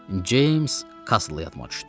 Ceyms Kasla yadıma düşdü.